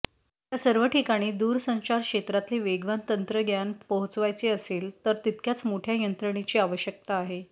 या सर्व ठिकाणी दूरसंचार क्षेत्रातले वेगवान तंत्रज्ञान पोहचवायचे असेल तर तितक्याच मोठ्या यंत्रणेची आवश्यकता आहे